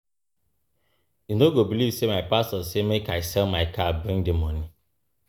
You no go beliv sey my pastor say make I sell my car bring di moni.